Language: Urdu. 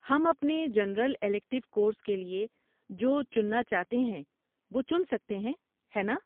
ہم اپنے جنرل الیکٹیو کورس کے لیے جو چننا چاہتے ہیں وہ چن سکتے ہیں، ہے ناں؟